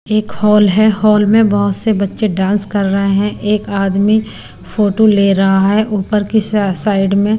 एक हॉल है हॉल में बहुत से बच्चे डांस कर रहे हैं एक आदमी फोटो ले रहा है ऊपर की साइड में--